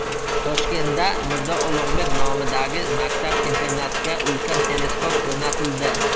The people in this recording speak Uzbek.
Toshkentda Mirzo Ulug‘bek nomidagi maktab-internatga ulkan teleskop o‘rnatildi .